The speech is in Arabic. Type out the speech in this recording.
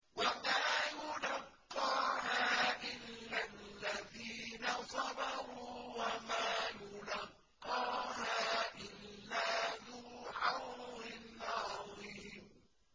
وَمَا يُلَقَّاهَا إِلَّا الَّذِينَ صَبَرُوا وَمَا يُلَقَّاهَا إِلَّا ذُو حَظٍّ عَظِيمٍ